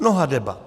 Mnoha debat.